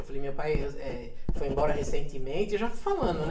Eu falei, meu eh eh pai foi embora recentemente, já falando, né?